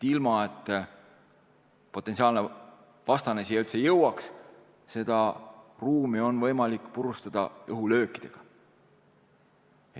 Ilma et potentsiaalne vastane siia üldse jõuaks, on seda ruumi võimalik purustada õhulöökidega.